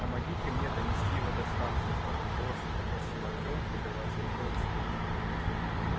помогите мне донести его до станции слабым голосом попросил артём прикрываясь рукой от света